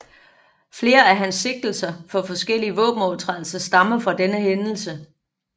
Flere af hans sigtelser for forskellige våbenovertrædelser stammer fra denne hændelse